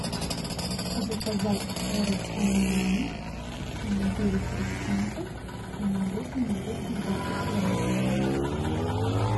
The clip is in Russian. заказать творог амиран девять процентов весом двести двадцать грамм